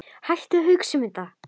Hættu að hugsa um þetta.